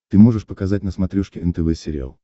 ты можешь показать на смотрешке нтв сериал